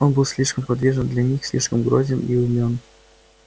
он был слишком подвижен для них слишком грозен и умён